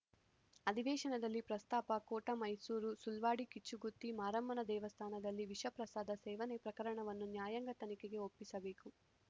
ಅಧಿವೇಶನದಲ್ಲಿ ಪ್ರಸ್ತಾಪ ಕೋಟ ಮೈಸೂರು ಸುಳ್ವಾಡಿ ಕಿಚ್ಚುಗುತ್ತಿ ಮಾರಮ್ಮನ ದೇವಸ್ಥಾನದಲ್ಲಿ ವಿಷ ಪ್ರಸಾದ ಸೇವನೆ ಪ್ರಕರಣವನ್ನು ನ್ಯಾಯಾಂಗ ತನಿಖೆಗೆ ಒಪ್ಪಿಸಬೇಕು